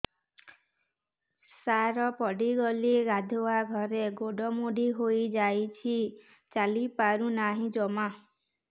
ସାର ପଡ଼ିଗଲି ଗାଧୁଆଘରେ ଗୋଡ ମୋଡି ହେଇଯାଇଛି ଚାଲିପାରୁ ନାହିଁ ଜମା